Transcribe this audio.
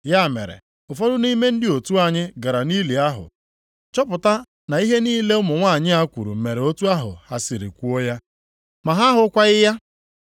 Ya mere ụfọdụ nʼime ndị otu anyị gara nʼili ahụ chọpụta na ihe niile ụmụ nwanyị a kwuru mere otu ahụ ha siri kwuo ya. Ma ha ahụkwaghị ya.”